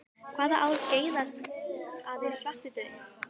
Hvaða ár geisaði svartidauði?